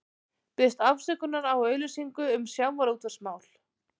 Biðst afsökunar á auglýsingu um sjávarútvegsmál